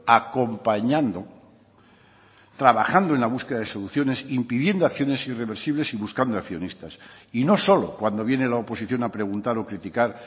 acompañando trabajando en la búsqueda de soluciones impidiendo acciones irreversibles y buscando accionistas y no solo cuando viene la oposición a preguntar o criticar